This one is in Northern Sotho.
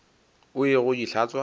o ye go di hlatswa